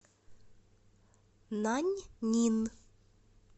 наньнин